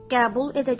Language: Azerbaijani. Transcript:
Qəbul edəcəyəm.